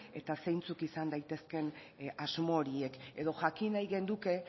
eta zeintzuk izan daitezkeen asmo horiek edo jakin nahi genuke